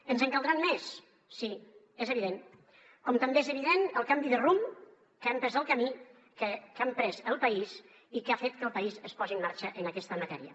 ens en caldran més sí és evident com també és evident el canvi de rumb que ha emprès el país i que ha fet que el país es posi en marxa en aquesta matèria